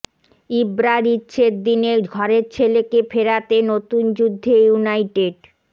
ইব্রার ইচ্ছের দিনে ঘরের ছেলেকে ফেরাতে নতুন যুদ্ধে ইউনাইটেড